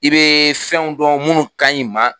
I bɛ fɛnw dɔn minnu ka ɲi maa